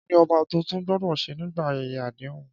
Kí ni ọba tuntun gbọ́dọ̀ ṣe nígbà ayẹyẹ àdéhùn?